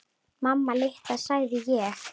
Mamma litla, sagði ég.